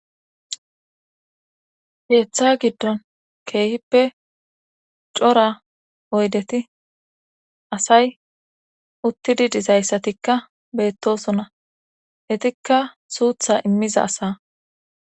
Keeththa giddon keehippe cora oydeti asay uttidi dizayssatikka beettosona etikka suutha immiza asaa